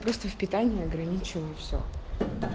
просто в питание ограничено и все